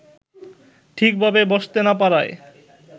ঠিকভাবে বসতে না পারায়